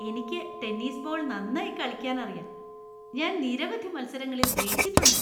എനിക്ക് tennis ball നന്നായി കളിക്കാനറിയാ. ഞാൻ നിരവധി മത്സരങ്ങളിൽ ജയിച്ചിട്ടുണ്ട്.